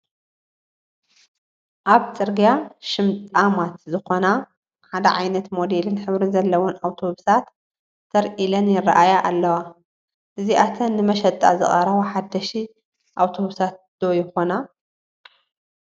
ኣብ ፅርጊያ ሽምጣማት ዝኾና ሓደ ዓይነት ሞዴልን ሕብርን ዘለወን ኣውቶቡሳት ተር ኢለን ይርአያ ኣለዋ፡፡ እዚኣተን ንመሸጣ ዝቐረባ ሓደሽቲ ኣውቶቡሳት ዶ ይኾና?